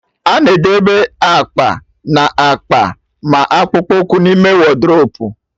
A na-edebe akwa na akpa ma akpụkpụ ụkwụ n'ime wodrobu